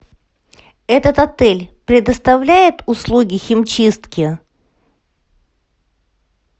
этот отель предоставляет услуги химчистки